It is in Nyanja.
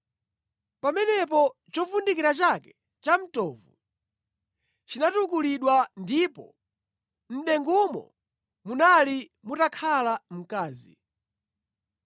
Pamenepo chovundikira chake chamtovu chinatukulidwa, ndipo mʼdengumo munali mutakhala mkazi.